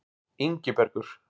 Ingibergur